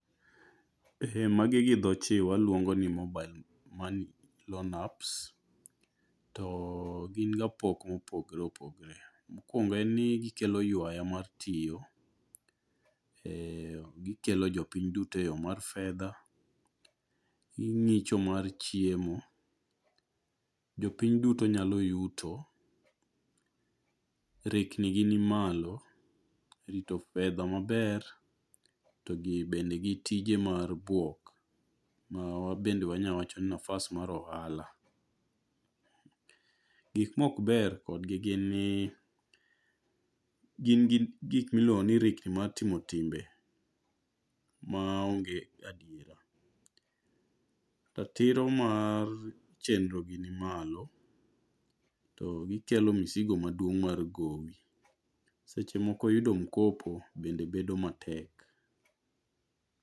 Magi gi dho chi waluongo ni mobile money loan apps. To gin gi pok mopogore opogore. Mokwongo en gikelo ywaya mar tiyo. Gikelo jopiny duto e yo mar fedha. Gi ng'icho mar chiemo. Jopiny duto nyalo yuto. Rikni gi ni malo. Rito fedha maber to gi bende gi tije mar buok ma bende wanya wacho ni nafas mar ohala. Gik mokber kodgi gin ni gin gi gik miluongo ni rikni mar timo timbe ma onge adiera. Ratiro mar chenro gi ni malo. To gikelo misigo maduong' mar gowi. Seche moko yudo mkopo bende bedo matek.